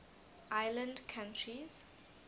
island countries